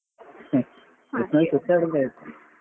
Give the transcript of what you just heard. ಒಟ್ಟಲ್ಲಿ ಸುತ್ತಾಡಿದ್ರೆ ಆಯ್ತು.